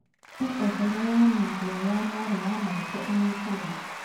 Hee ũhoro wa mĩario ya mũrũ wa maitũ aanyitaga.